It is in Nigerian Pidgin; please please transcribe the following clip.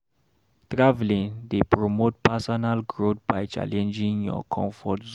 Travelling dey promote personal growth by challenging your comfort zone.